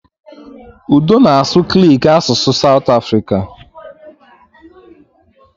Udo na-asụ Kiliki, asụsụ Satụ Afrika